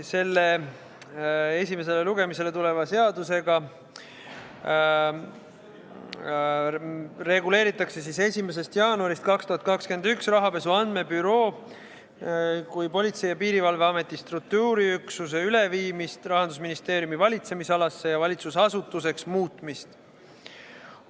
Selle esimesele lugemisele tuleva seadusega reguleeritakse 1. jaanuarist 2021 rahapesu andmebüroo kui Politsei- ja Piirivalveameti struktuuriüksuse üleviimist Rahandusministeeriumi valitsemisalasse ja valitsusasutuseks muutmist.